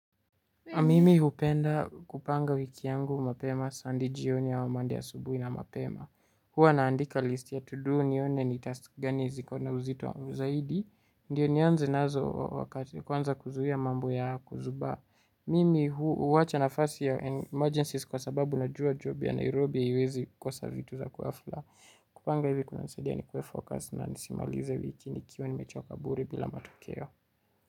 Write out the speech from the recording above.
Mimi hupenda kupanga wiki yangu mapema sunday jioni ama monday asubuhi na mapema. Hua naandika list ya to do nione ni task gani ziko na uzito zaidi. Ndiyo nianze nazo kwanza kuzuhia mambo ya kuzuba. Mimi huwacha nafasi ya emergencies kwa sababu na jua job ya Nairobi hiwezi kosa vitu za kwafula. Kupanga hivi kuna nisaidia ni kuwe focus na nisimalize wiki nikiwa nimechoka bure bila matokeo.